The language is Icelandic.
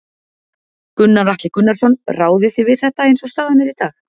Gunnar Atli Gunnarsson: Ráðið þið við þetta eins og staðan er í dag?